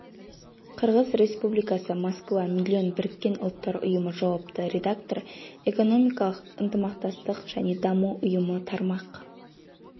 қырғыз республикасы москва миллион біріккен ұлттар ұйымы жауапты редактор экономикалық ынтымақтастық және даму ұйымы тармақ